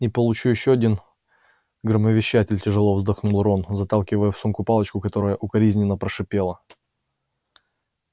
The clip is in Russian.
и получу ещё один громовещатель тяжело вздохнул рон заталкивая в сумку палочку которая укоризненно прошипела